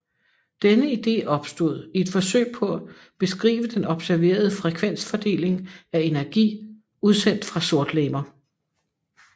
Denne ide opstod i et forsøg på at beskrive den observerede frekvensfordeling af energi udsendt fra sortlegemer